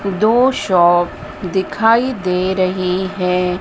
दो शॉप दिखाई दे रही है।